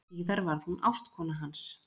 Síðar varð hún ástkona hans.